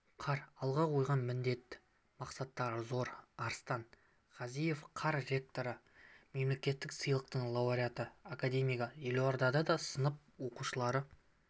қар алға қойған міндет-мақсаттары зор арстан ғазалиев қар ректоры мемлекеттік сыйлықтың лауреаты академигі елордада сынып оқушылары